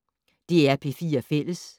DR P4 Fælles